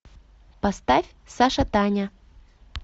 поставь сашатаня